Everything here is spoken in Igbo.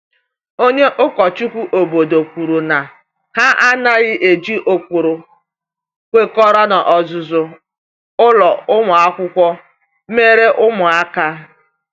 Onye ụkọchukwu obodo kwuru na ha anaghị eji ụkpụrụ kwekọrọ n’ọzụzụ ụlọ akwụkwọ emere ụmụaka.